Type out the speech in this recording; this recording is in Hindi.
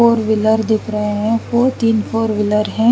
फोर व्हीलर दिख रहे है और तिन फोर व्हीलर है।